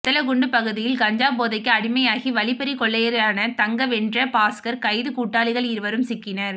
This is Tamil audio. வத்தலக்குண்டு பகுதியில் கஞ்சா போதைக்கு அடிமையாகி வழிப்பறி கொள்ளையரான தங்கம் வென்ற பாக்ஸர் கைது கூட்டாளிகள் இருவரும் சிக்கினர்